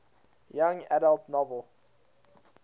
young adult novel